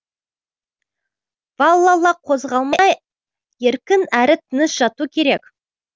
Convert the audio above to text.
валлала қозғалмай еркін әрі тыныш жату керек